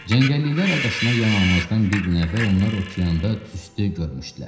Cəngəlliklər adasına yanalmazdan bir gün əvvəl onlar okeanda tüstü görmüşdülər.